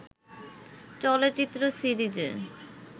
চলচ্চিত্র সিরিজে